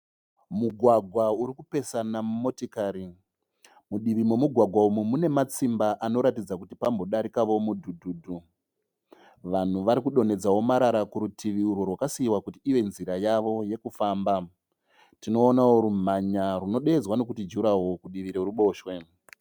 Mugwagwa uri kupesana motikari. Mudivi momugwagwa umu mune matsimba anoratidza kuti pambodarikao mudhudhudhu. Vanhu varikudonhedzao marara kurutivi urwo rwakasiiwa kuti ive nzira yavo yekufamba. Tinoonao rumhanya runodeedzwa nekuti juraho kudivi rweruboshwe.